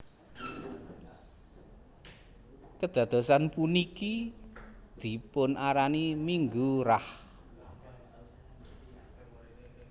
Kedadosan puniki dipun arani Minggu Rah